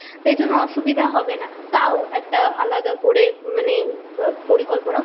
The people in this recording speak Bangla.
তাই জন্য অসুবিধা হবে না তাও একটা আলাদা করে মানে আ পরিকল্পনা